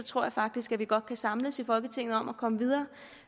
tror faktisk at vi godt kan samles i folketinget om at komme videre